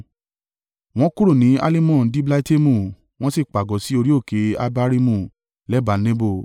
Wọ́n kúrò ní Alimon-Diblataimu wọ́n sì pàgọ́ sí orí òkè Abarimu lẹ́bàá Nebo.